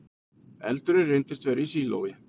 Eldurinn reyndist vera í sílói